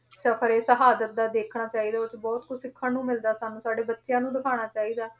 ਸਫ਼ਰ ਏ ਸ਼ਹਾਦਤ ਦਾ ਦੇਖਣਾ ਚਾਹੀਦਾ, ਉਹ 'ਚ ਬਹੁਤ ਕੁਛ ਦੇਖਣ ਨੂੰ ਮਿਲਦਾ ਚਾਹੀਦਾ, ਸਾਡੇ ਬੱਚਿਆਂ ਨੂੰ ਦਿਖਾਉਣਾ ਚਾਹੀਦਾ ਹੈ,